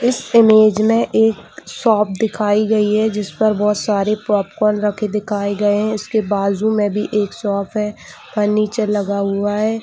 इस इमेज मे एक शॉप दिखाई गई है जिसपर बहुत सारे पॉपकॉर्न रखे दिखाई गए है इसके बाजु मे भी एक भी एक शॉप है फर्नीचर लगा हुआ है।